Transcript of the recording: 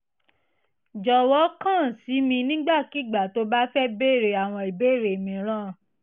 jọ̀wọ́ kàn sí mi nígbàkigbà tóo bá fẹ́ béèrè àwọn ìbéèrè mìíràn